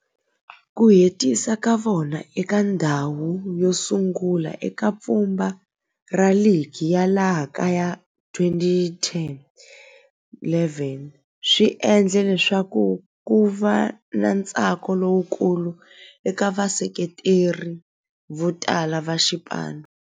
Ku hetisa ka vona eka ndzhawu yosungula eka pfhumba ra ligi ya laha kaya ya 2010-11 swi endle leswaku kuva na ntsako lowukulu eka vaseketeri votala va xipano.